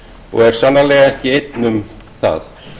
og er sannarlega ekki einn um það